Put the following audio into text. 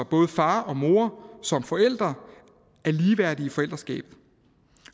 både far og mor som forældre er ligeværdige i forældreskabet